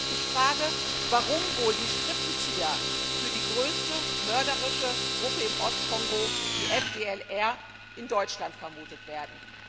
Ich frage, warum wohl die Strippenzieher für die größte mörderische Gruppe im Ostkongo die FDLR in Deutschland vermutet werden?